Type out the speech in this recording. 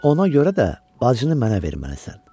Ona görə də bacını mənə verməlisən.